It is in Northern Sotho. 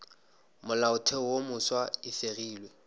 molaotheo wo mofsa e fegilwe